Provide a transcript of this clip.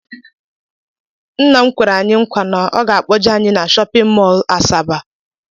Ńnà m kwere anyị nkwa na ọ ga akpoje anyị na shóppin mol Asaba.